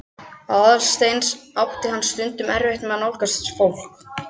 Aðalsteins átti hann stundum erfitt með að nálgast fólk.